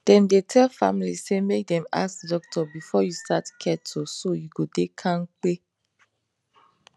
dem dey tell family say make dem ask doctor before you start keto so you go dey kampe